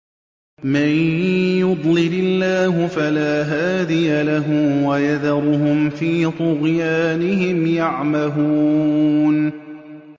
مَن يُضْلِلِ اللَّهُ فَلَا هَادِيَ لَهُ ۚ وَيَذَرُهُمْ فِي طُغْيَانِهِمْ يَعْمَهُونَ